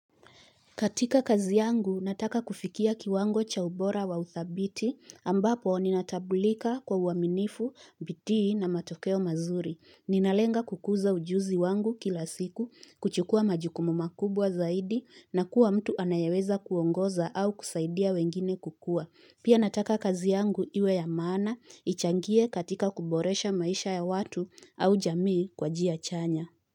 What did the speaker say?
Katika kazi yangu, nataka kufikia kiwango cha ubora wa uthabiti ambapo ninatambulika kwa uaminifu, bidii na matokeo mazuri. Ninalenga kukuza ujuzi wangu kila siku, kuchukua majukumu makubwa zaidi na kuwa mtu anayeweza kuongoza au kusaidia wengine kukua. Pia nataka kazi yangu iwe ya maana, ichangie katika kuboresha maisha ya watu au jamii kwa njia chanya.